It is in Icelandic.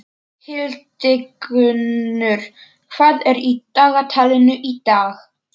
Hildigunnur, hvað er í dagatalinu í dag?